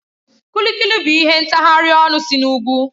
Kuli Kuli bụ ihe ntaghari ọnụ si n'ugwu